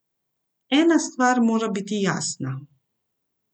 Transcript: Ena stvar mora biti jasna.